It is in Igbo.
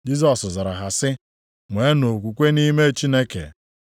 Jisọs zara ha sị, “Nweenụ okwukwe nʼime Chineke.